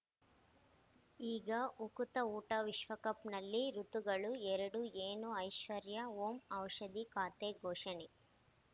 ಈಗ ಉಕುತ ಊಟ ವಿಶ್ವಕಪ್‌ನಲ್ಲಿ ಋತುಗಳು ಎರಡು ಏನು ಐಶ್ವರ್ಯಾ ಓಂ ಔಷಧಿ ಖಾತೆ ಘೋಷಣೆ